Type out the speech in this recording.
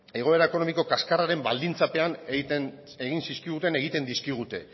egoera ekonomiko kaskarraren baldintzapean egin zizkiguten egiten dizkigute